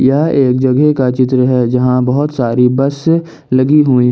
यह एक जगह का चित्र है जहां बहुत सारी बस लगी हुई है।